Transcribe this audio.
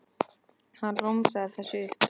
Hann romsaði þessu upp.